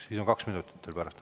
Siis on teil pärast kaks minutit.